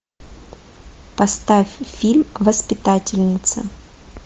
поставь фильм воспитательница